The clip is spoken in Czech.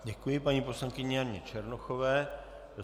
Děkuji paní poslankyni Janě Černochové.